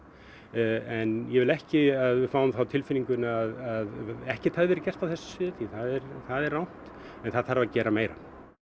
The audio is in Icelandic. en ég vil ekki að við fáum það á tilfinninguna að ekkert hafi verið gert á þessu sviði því það er það er rangt en það þarf að gera meira